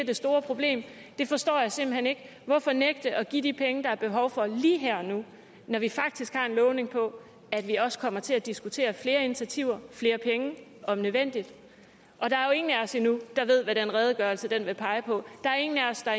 det store problem det forstår jeg simpelt hen ikke hvorfor nægte at give de penge der er behov for lige her og nu når vi faktisk har fået lovning på at vi også kommer til at diskutere flere initiativer og flere penge om nødvendigt der er jo ingen af os endnu der ved hvad den redegørelse vil pege på der er ingen af os